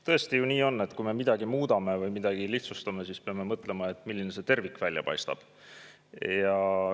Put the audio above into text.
Tõesti ju nii on, et kui me midagi muudame või lihtsustame, siis peame mõtlema, milline see tervik välja paistab.